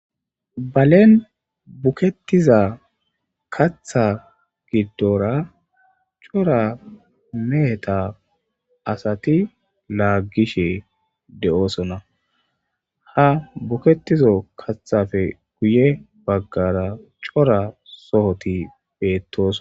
Balen bukettiza katha giddora cora meheta asati laaggishe de7oosona ha buketizo kathafe guye baggara cora sohoti beettos.